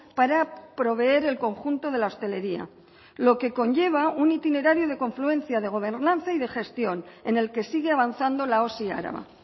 para proveer el conjunto de la hostelería lo que conlleva un itinerario de confluencia de gobernanza y de gestión en el que sigue avanzando la osi araba